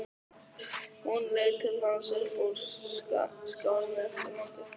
Hún leit til hans upp úr skálinni eftir langa þögn.